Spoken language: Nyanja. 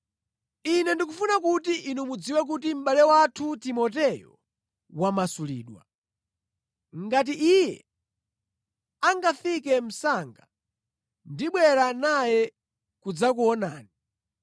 Ine ndikufuna kuti inu mudziwe kuti mʼbale wathu Timoteyo wamasulidwa. Ngati iye angafike msanga ndibwera naye kudzakuonani.